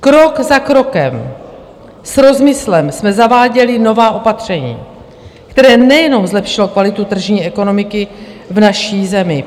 Krok za krokem, s rozmyslem, jsme zaváděli nová opatření, která nejenom zlepšila kvalitu tržní ekonomiky v naší zemi.